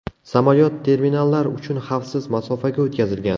Samolyot terminallar uchun xavfsiz masofaga o‘tkazilgan.